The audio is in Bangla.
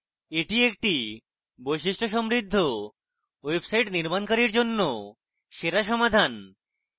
এটি একটি বৈশিষ্ট্য সমৃদ্ধ website নির্মাণকারীর জন্য সেরা সমাধান